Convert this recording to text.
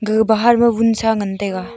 ega bahar ma wunsa ngan taiga.